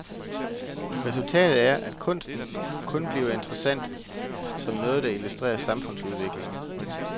Resultatet er, at kunsten kun bliver interessant som noget, der illustrerer samfundsudviklingen.